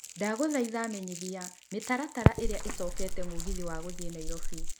ndagũthaitha menyithia mĩtaratara ĩna ĩcokete mũgithi wagũthiĩ nairobi